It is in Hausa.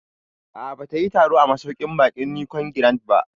A'a, ba ta yi taro a masauƙin baƙin Nicon Grand ba